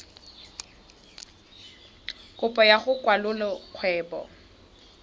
kopo ya go kwalolola kgwebo